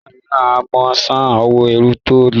nigbamiran a món sàn owo ẹ́rù lọtọ.